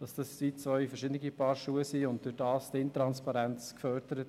Dies seien zwei verschiedene Paar Schuhe, und dadurch werde die Intransparenz gefördert.